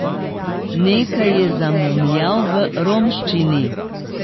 Nekaj je zamomljal v romščini.